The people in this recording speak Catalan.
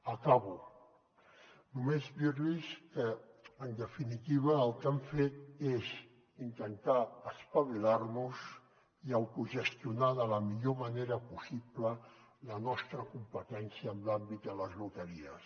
acabo només dirlos que en definitiva el que hem fet és intentar espavilarnos i autogestionar de la millor manera possible la nostra competència en l’àmbit de les loteries